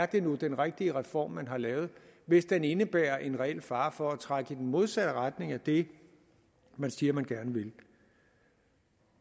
det nu er den rigtige reform man har lavet hvis den indebærer en reel fare for at trække i den modsatte retning af det man siger man gerne vil